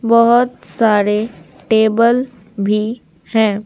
बहुत सारे टेबल भी हैं।